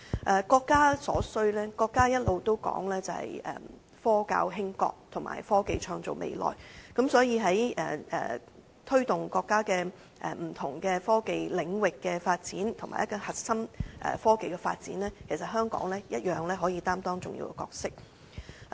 至於國家所需，國家一直提倡"科教興國"及"科技創造未來"，所以在推動國家不同科技領域的發展，以及核心科技的發展上，其實香港一樣可以擔當重要的角色。